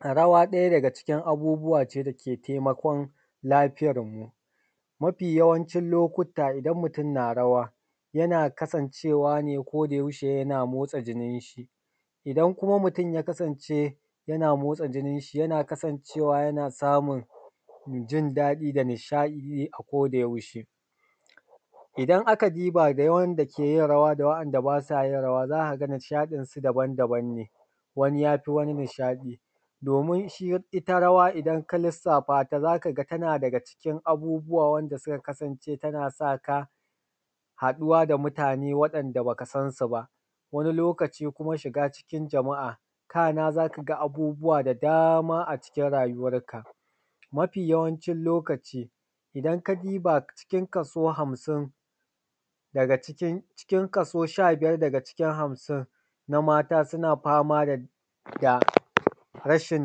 Rawa ɗaya daga cikin abubuwa ce da ke taimakon lafiyar mu. Mafi yawancin lokuta idan mutum na rawa yana kasancewa ne koda yaushe yana motsa jinin shi. Idan kuma mutum ya kasance yana motsa jinin shi yana kasancewa yana samun jindadi da nishadi ne akoda yaushe. Idan aka duba ga wanda ke yin rawa da wa’anda ba sa yin rawa za ka ga nishaɗin su daban daban ne, wani yafi wani nishaɗi domin ita rawa idan ka lissafa, ta za ka ga tana daga cikin abubuwa wanda suka kasance tana saka haɗuwa da mutane, waɗanda baka san su ba. Wani lokaci kuma shiga cikin jama'a kana za ka ga abubuwa da dama a cikin rayuwanka. Mafi yawancin lokaci idan ka duba cikin kaso hamsin daga cikin kaso sha biyar daga cikin kaso hamsin na mata, suna fama da rashin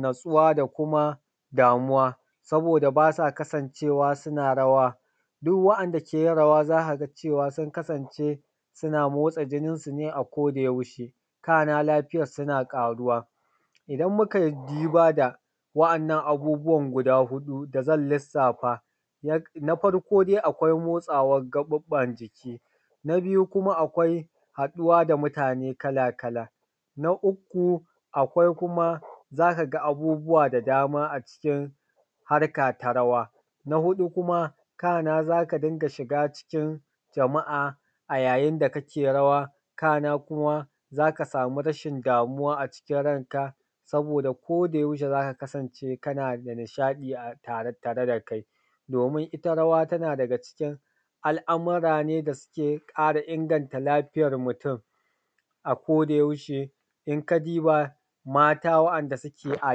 natsuwa, da kuma damuwa saboda basa kasancewa suna rawa. Duk waɗanda ke yin rawa za ka ga cewa sun kasance suna motsa jinin su ne a koda yaushe, kana lafiyarsu suna ƙaruwa. Idan mu kai duba da wa’annan abubuwan guda hudu da zan lissafa, na farko dai akwai motsawan gaɓuɓɓan jiki, na biyu kuma akwai haɗuwa da mutane kala kala, na uku akwai kuma za ka ga abubuwa da dama a cikin harka ta rawa, na huɗu kuma kana za ka dinga shiga cikin jama'a, a yayin da ka ke rawa, kana kuma za ka samu rashin damuwa a cikin ranka, saboda koda yaushe za ka kasance kana da nishaɗi a tare da kai, domin ita rawa tana daga cikin al’amura ne da suke ƙara inganta lafiyar mutum, a koda yaushe. In ka duba mata waɗanda suke a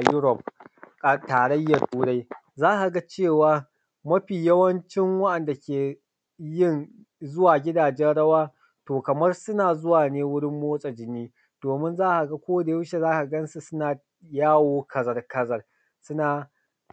yurof a tarayyan turai, za ka ga cewa mafi yawancin wa’anda ke yin zuwa gidajen rawa to kaman suna zuwa ne wurin motsa jini domin za ka ga koda yaushe za ka gansu suna yawo kazar kazar suna ce.